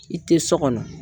I tɛ so kɔnɔ.